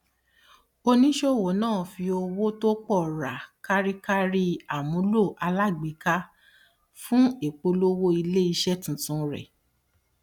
oníṣòwò náà fi owó tó pọ ra kárí kárí àmúlò alágbèéká fún ìpolówó ilé iṣẹ tuntun rẹ